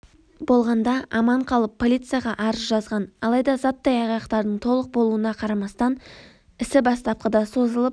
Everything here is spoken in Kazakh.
болғанда аман қалып полицияға арыз жазған алайда заттай айғақтардың толық болуына қарамастан іс бастапқыда созылып